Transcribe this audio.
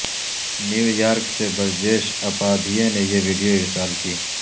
New York سے برجیش اپادھیے نے یہ ویڈیو ارسال کی